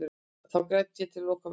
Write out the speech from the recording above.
Þá græt ég og loka mig af.